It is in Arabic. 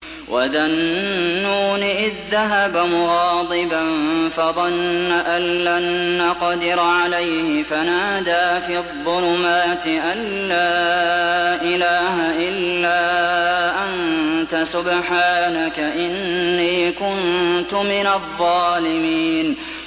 وَذَا النُّونِ إِذ ذَّهَبَ مُغَاضِبًا فَظَنَّ أَن لَّن نَّقْدِرَ عَلَيْهِ فَنَادَىٰ فِي الظُّلُمَاتِ أَن لَّا إِلَٰهَ إِلَّا أَنتَ سُبْحَانَكَ إِنِّي كُنتُ مِنَ الظَّالِمِينَ